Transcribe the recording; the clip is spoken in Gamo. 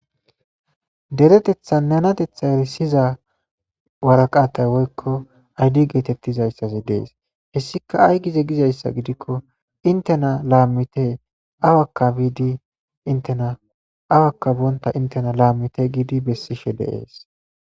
deretetha nanatetha erisiza waraqatay woykko aydi geetettizayssasi dees hessika ay gize gizayssa gidikko intena laammite awakka biidi intena awakka boonta intena laammite giidi bessishe de'ees